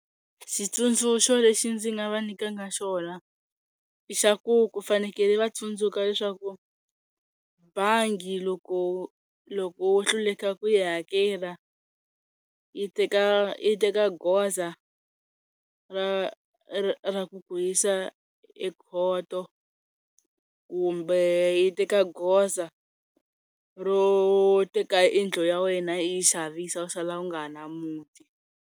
Xitsundzuxo lexi ndzi nga va nyikanga xona i xa ku ku fanekele va tsundzuka leswaku bangi loko loko wo hluleka ku yi hakela yi teka yi teka goza ra ra ku ku yisa ekhoto kumbe yi teka goza ro teka yindlu ya wena yi yi xavisa u sala u nga ha ri na muti.